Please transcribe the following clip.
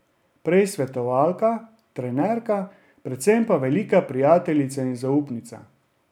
Prej svetovalka, trenerka, predvsem pa velika prijateljica in zaupnica.